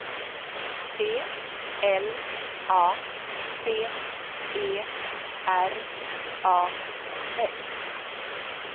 P L A C E R A S